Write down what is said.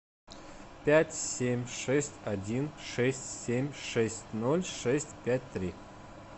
пять семь шесть один шесть семь шесть ноль шесть пять три